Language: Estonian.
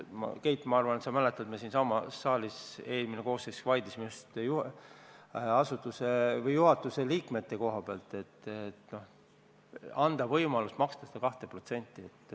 Keit, ma arvan, et sa mäletad, kuidas me eelmise koosseisu ajal siinsamas saalis vaidlesime just juhatuse liikmete teemal, et anda ka neile võimalus maksta seda 2%.